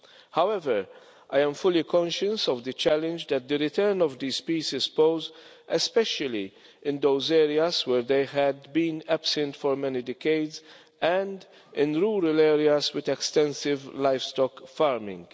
However, I am fully conscious of the challenge that the return of these species presents, especially in those areas where they had been absent for many decades and in rural areas with extensive livestock farming.